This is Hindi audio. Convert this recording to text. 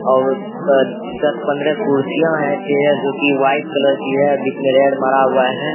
और ओय पे दस पंद्रा कुर्सियां है चेयर जो की व्हाइट कलर की है बीच में रेड मारा हुआ है।